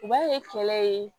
U b'a ye kɛlɛ ye